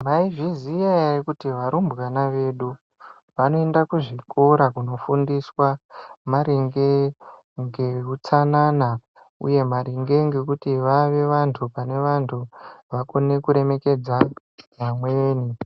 Maizviziya ere kuti arumbwana edu anoenda kuzvikora kunofundiswa maringe ngeutsanana uye maringe ngekuti vave vandu pane vandu ,vakone kuremekedza amweni